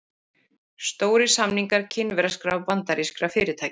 Stórir samningar kínverskra og bandarískra fyrirtækja